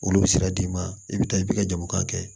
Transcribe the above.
Olu bɛ sira d'i ma i bɛ taa i b'i ka jamu kan kɛ